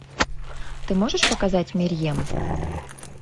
ты можешь показать мерьем